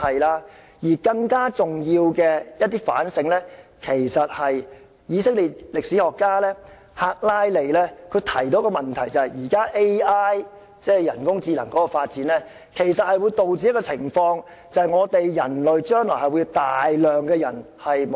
另外，更加重要的反省是以色列的歷史學家赫拉利提出的問題，就是現時 AI 的發展，將會導致大量失業人口出現。